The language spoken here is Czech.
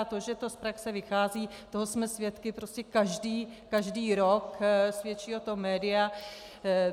A to, že to z praxe vychází, toho jsme svědky prostě každý rok, svědčí o tom média.